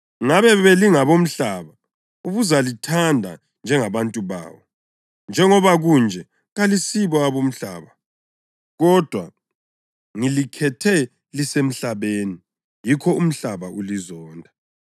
Ngabe belingabomhlaba, ubuzalithanda njengabantu bawo. Njengoba kunje, kalisibo abomhlaba, kodwa ngilikhethe lisemhlabeni. Yikho umhlaba ulizonda.